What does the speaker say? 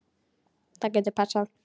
Það getur passað.